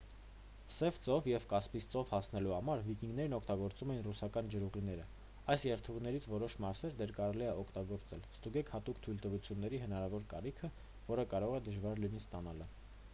սև ծով և կասպից ծով հասնելու համար վիկինգներն օգտագործում էին ռուսական ջրուղիները։ այս երթուղիներից որոշ մասեր դեռ կարելի է օգտագործել։ ստուգեք հատուկ թույլտվությունների հնարավոր կարիքը որը կարող է դժվար լինի ստանալը։